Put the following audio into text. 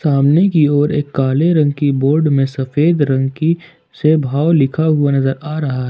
सामने की ओर एक काले रंग की बोर्ड में सफेद रंग की से भाव लिखा हुआ नजर आ रहा --